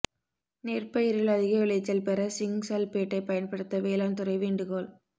நெற்பயிரில் அதிக விளைச்சல் பெற சிங் சல்பேட்பயன்படுத்த வேளாண் துறை வேண்டுகோள்